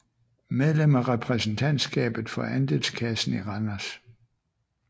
Medlem af Repræsentantskabet for Andelskassen i Randers